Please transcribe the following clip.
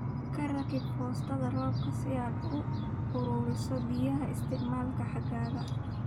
Ku rakib foostada roobka si aad u ururiso biyaha isticmaalka xagaaga